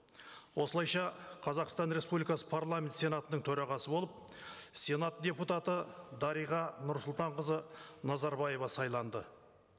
осылайша қазақстан республикасы парламент сенатының төрағасы болып сенат депутаты дариға нұрсұлтанқызы назарбаева сайланды